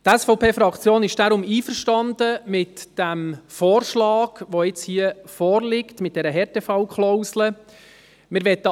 Die SVPFraktion ist deswegen mit dem Vorschlag einverstanden, welcher hier mit dieser Härtefallklausel vorliegt.